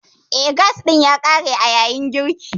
Eh, gas ɗin ya ƙare a yayin girkin.